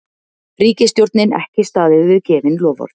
Ríkisstjórnin ekki staðið við gefin loforð